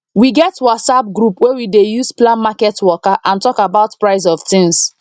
we get whatsapp group wey we dey use plan market waka and talk about price of things